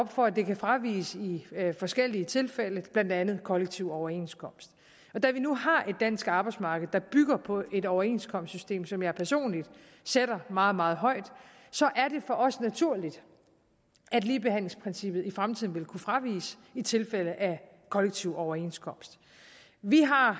for at det kan fraviges i forskellige tilfælde blandt andet ved kollektiv overenskomst da vi nu har et dansk arbejdsmarked der bygger på et overenskomstsystem som jeg personligt sætter meget meget højt er det for os naturligt at ligebehandlingsprincippet i fremtiden vil kunne fraviges i tilfælde af kollektiv overenskomst vi har